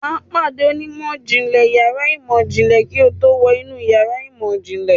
Wà á pàdé onímọ̀ ìjìnlẹ̀ yàrá ìmọ̀ ìjìnlẹ̀ kí o tó wọ inú yàrá ìmọ̀-ìjìnlẹ̀.